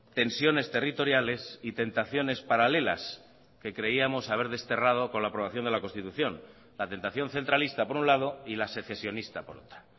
tensiones territoriales y tentaciones paralelas que creíamos haber desterrado con la aprobación de la constitución la tentación centralista por un lado y la secesionista por otra